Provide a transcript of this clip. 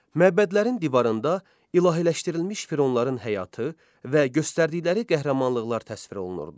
Məbədlərin divarında ilahiləşdirilmiş fironların həyatı və göstərdikləri qəhrəmanlıqlar təsvir olunurdu.